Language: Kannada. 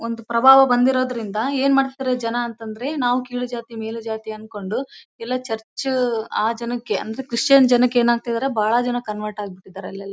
ಒಂದು ಪ್ರಭಾವ ಬಂದಿರುದರಿಂದ ಏನ್ ಮಾಡ್ತಿದಾರೆ ಜನ ಅಂತಂದ್ರೆ ನಾವು ಕೀಳು ಜಾತಿ ಮೇಲು ಜಾತಿ ಅನ್ಕೊಂಡು ಎಲ್ಲ ಚರ್ಚ್ ಆ ಜನಕ್ಕೆ ಅಂದ್ರೆ ಕ್ರಿಶ್ಚಿಯನ್ ಜನಕ್ಕೆ ಬಹಳ ಜನ ಕನ್ವರ್ಟ್ ಆಗ್ಬಿಟ್ಟಿದಾರೆ ಇವಾಗ.